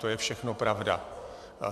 To je všechno pravda.